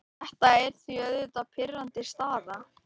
Þetta er því auðvitað pirrandi staða.